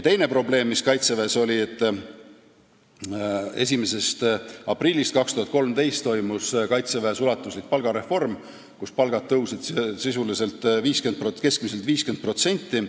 Teine probleem oli see, et 1. aprillist 2013 toimus kaitseväes ulatuslik palgareform, palgad tõusid keskmiselt 50%.